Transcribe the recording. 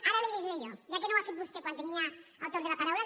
ara li ho llegiré jo ja que no ho ha fet vostè quan tenia el torn de la paraula